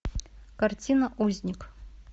картина узник